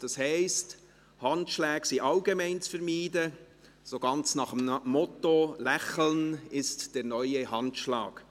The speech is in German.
Das heisst, Handschläge sind allgemein zu vermeiden, so ganz nach dem Motto «lächeln ist der neue Handschlag».